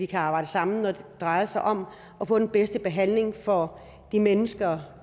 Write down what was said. kan arbejde sammen når det drejer sig om at få den bedste behandling for de mennesker